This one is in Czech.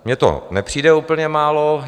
Mně to nepřijde úplně málo.